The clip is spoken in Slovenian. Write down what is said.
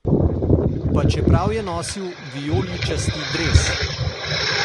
Pa čeprav je nosil vijoličasti dres!